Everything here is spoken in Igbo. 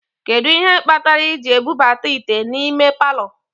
Kedu ihe kpatara I ji ebubata ite n'ime palọ?